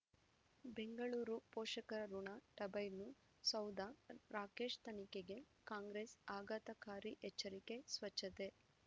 ಬೆಂಗಳೂರು ಪೋಷಕರಋಣ ಟರ್ಬೈನು ಸೌಧ ರಾಕೇಶ್ ತನಿಖೆಗೆ ಕಾಂಗ್ರೆಸ್ ಆಘಾತಕಾರಿ ಎಚ್ಚರಿಕೆ ಸ್ವಚ್ಛತೆ